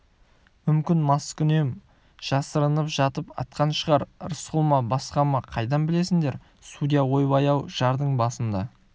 мүмкін қаскүнем жасырынып жатып атқан шығар рысқұл ма басқа ма қайдан білесіңдер судья ойбай-ау жардың басында